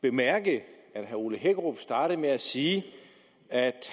bemærke at herre ole hækkerup startede med at sige at